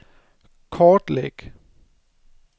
kortlæg